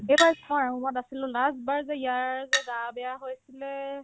এইবাৰ থয়েৰ room ত আছিলো last বাৰ যে ইয়াৰ যে গা বেয়া হৈছিলে